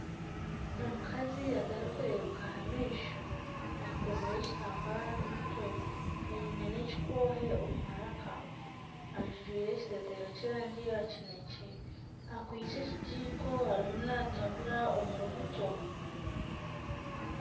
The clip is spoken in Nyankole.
Omukazi atarikureebeka aha maisho ayekomire ekitambare aha mutwe aine n'ekikoohe omu maraka ajwaire ekiteteeya ky'erangi ya kinekye akwaitse ekigiko arimu natambura omuri buto.